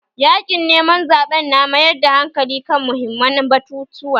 Yaƙin neman zaɓen na mayar da hankali kan muhimman batutuwa